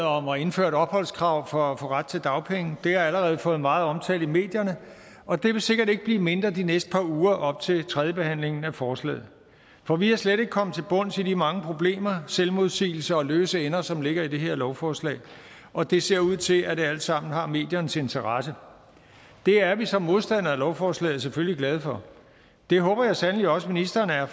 om at indføre et opholdskrav for ret til dagpenge har allerede fået meget omtale i medierne og den vil sikkert ikke blive mindre de næste par uger op til tredjebehandlingen af forslaget for vi er slet ikke kommet til bunds i de mange problemer selvmodsigelser og løse ender som ligger i det her lovforslag og det ser ud til at det alt sammen har mediernes interesse det er vi som modstandere af lovforslaget selvfølgelig glade for det håber jeg sandelig også ministeren er